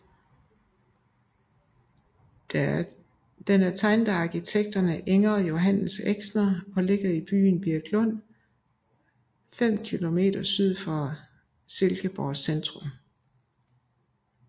Den er tegnet af arkitekterne Inger og Johannes Exner og ligger i byen Virklund fem kilometer syd for Silkeborgs centrum